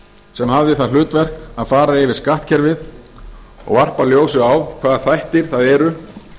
sem hafði það hlutverk að fara yfir skattkerfið og varpa ljósi á hvaða þættir það eru